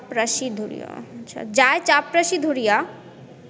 যায়-চাপরাশী ধরিয়া